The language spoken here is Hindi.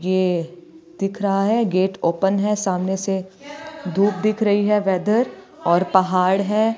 ये दिख रहा है गेट ओपन है सामने से धूप दिख रही है वेदर और पहाड़ है।